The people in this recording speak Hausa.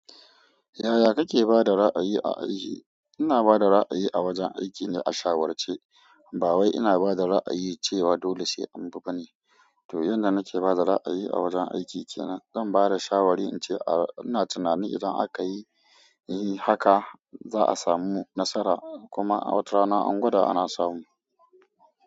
Yaya kake ba da ra'ayi a aiki? Ina ba da ra'ayi a wajen aiki na a shawarce. Ba wai ina ba da ra'ayi cewa dole sai an bi ba ne. To, yanda nake ba da ra'ayi a wajen aiki ke nan, zan ba da shawari in ce ina tunanin idan aka yi haka za a samu nasara kuma a watarana an gwada ana samu.